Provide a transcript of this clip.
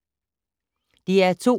DR2